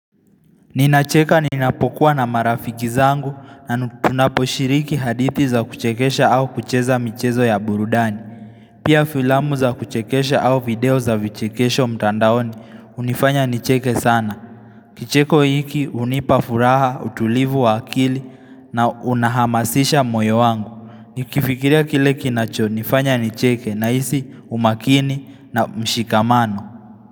Ninacheka ninapokuwa na marafiki zangu na tunaposhiriki hadithi za kuchekesha au kucheza michezo ya burudani. Pia filamu za kuchekesha au video za vichekesho mtandaoni hunifanya nicheke sana. Kicheko hiki hunipa furaha, utulivu wa akili na unahamasisha moyo wangu. Nikifikiria kile kinachonifanya nicheke nahisi umakini na mshikamano.